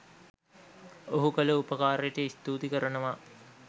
ඔහු කල උපකාරයට ස්තූති කරනවා